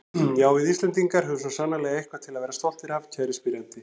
Já, við Íslendingar höfum svo sannarlega eitthvað til að vera stoltir af, kæri spyrjandi.